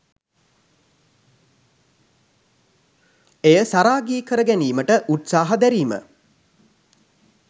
එය සරාගී කර ගැනීමට උත්සාහ දැරීම